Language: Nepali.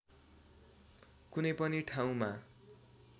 कुनै पनि ठाउँमा